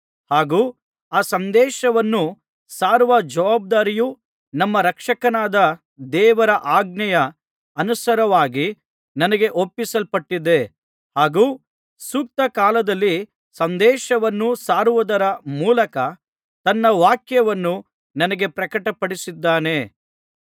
ಹಾಗು ಆ ಸಂದೇಶವನ್ನು ಸಾರುವ ಜವಾಬ್ದಾರಿಯು ನಮ್ಮ ರಕ್ಷಕನಾದ ದೇವರ ಆಜ್ಞೆಯ ಅನುಸಾರವಾಗಿ ನನಗೆ ಒಪ್ಪಿಸಲ್ಪಟ್ಟಿದೆ ಹಾಗು ಸೂಕ್ತ ಕಾಲದಲ್ಲಿ ಸಂದೇಶವನ್ನು ಸಾರುವುದರ ಮೂಲಕ ತನ್ನ ವಾಕ್ಯವನ್ನು ನನಗೆ ಪ್ರಕಟಪಡಿಸಿದ್ದಾನೆ